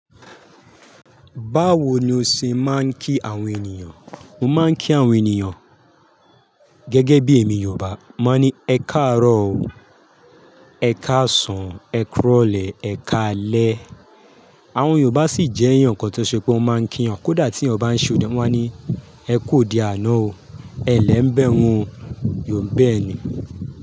Báwo ni o ṣe máa ń kí àwọn ènìyàn? Mo máa ń kí àwọn ènìyàn gẹ́gẹ́ bí èmi Yorùbá, mo máa ní ẹ káàárọ̀ o, ẹ káàsán, ẹ kúrọ̀lẹ́, ẹ káalẹ́. Àwọn Yorùbá sì jẹ́ èèyàn kan tó ṣe pé wọ́n máa ń kí èyán kódà tí ènìyàn bá ń ṣe òde, wọ́n máa ní ẹ ku ode àná o, ẹ lẹ́ ń bẹ hún o, yóò ń bẹ ẹ ní.